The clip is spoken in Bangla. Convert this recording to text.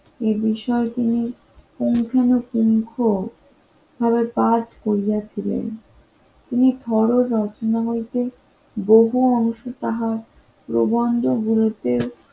এ বিষয়টি নিয়ে পুঙ্খানুপুঙ্খ পাঠ করিয়াছিলেন তিনি ফরজ রচনা হইতে বহু অংশ তাহার প্রবন্ধ গুলোতে